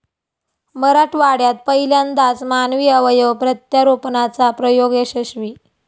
मराठवाड्यात पहिल्यांदाच मानवी अवयव प्रत्यारोपणाचा प्रयोग यशस्वी